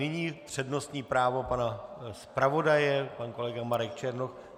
Nyní přednostní právo pana zpravodaje - pan kolega Marek Černoch.